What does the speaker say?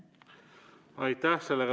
Aitäh!